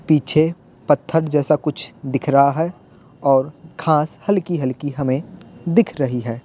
पीछे पत्थर जैसा कुछ दिख रहा है और घास हल्की-हल्की हमें दिख रही है।